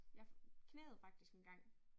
Jeg knæet faktisk engang